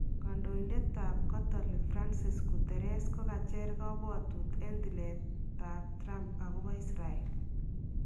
Kandoindetab catholic Francis , Guterres kokacher kabwatuut en tileetab Trump akoboo Israel